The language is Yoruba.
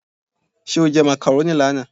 Ṣé o jẹ macaroni lánàá?